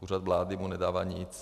Úřad vlády mu nedává nic.